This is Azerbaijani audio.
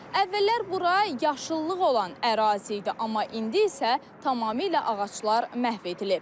Əvvəllər bura yaşıllıq olan ərazi idi, amma indi isə tamamilə ağaclar məhv edilib.